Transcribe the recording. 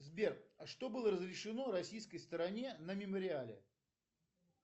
сбер а что было разрешено российской стороне на мемориале